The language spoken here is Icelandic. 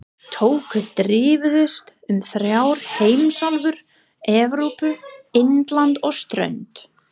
Tökur dreifðust um þrjár heimsálfur- Evrópu, Indland og strönd